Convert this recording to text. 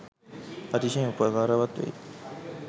අතිශයින් උපකාරවත් වෙයි.